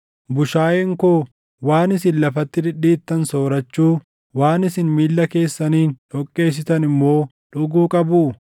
Bushaayeen koo waan isin lafatti dhidhiittan soorachuu, waan isin miilla keessaniin dhoqqeessitan immoo dhuguu qabuu?